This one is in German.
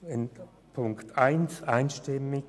Den Punkt 1 unterstützt sie einstimmig.